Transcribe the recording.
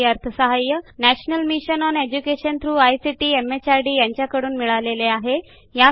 यासाठी national mission on education through ICT MHRD यांच्याकडून अर्थसहाय्य मिळालेले आहे